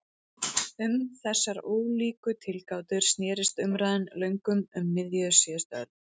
Um þessar ólíku tilgátur snerist umræðan löngum um miðja síðustu öld.